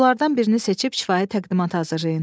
Mövzulardan birini seçib kifayət təqdimat hazırlayın.